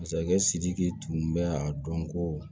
Masakɛ sidiki tun bɛ a dɔn ko